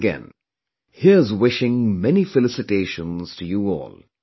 Once again here's wishing many felicitations to you all